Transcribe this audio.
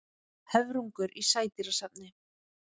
Höfrungur í sædýrasafni.